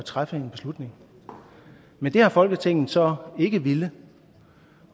træffe en beslutning men det har folketinget så ikke villet